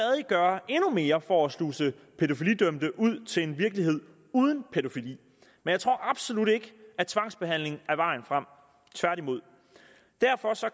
gøre endnu mere for at sluse pædofilidømte ud til en virkelighed uden pædofili men jeg tror absolut ikke at tvangsbehandling er vejen frem tværtimod derfor